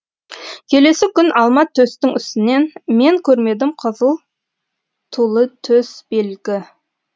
келесі күн алма төстің үстінен мен көрмедім қызыл тулы төс белгі